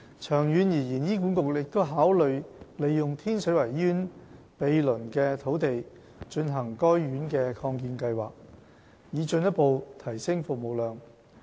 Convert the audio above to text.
長遠而言，醫管局亦考慮利用天水圍醫院毗鄰的土地進行該院的擴建計劃，以進一步提升服務量。